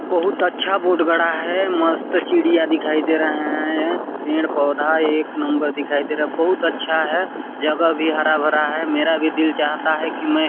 बहुत अच्छा बोर्ड गढ़ा है मस्त चिड़िया दिखाई दे रहा है पेड़ -पौधा एक नंबर दिखाई दे रहा है बहुत अच्छा है जगह भी हरा -भरा है मेरा भी दिल चाहता है कि मैं--